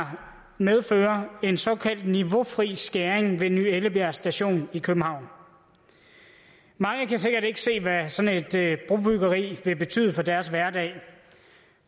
her medfører en såkaldt niveaufri skæring ved ny ellebjerg station i københavn mange kan sikkert ikke se hvad sådan et brobyggeri vil betyde for deres hverdag